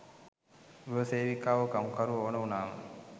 ගෘහ සේවිකාවො කම්කරුවො ඕන උනාම.